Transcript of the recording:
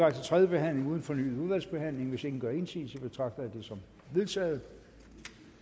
tredje behandling uden fornyet udvalgsbehandling hvis ingen gør indsigelse betragter jeg det som vedtaget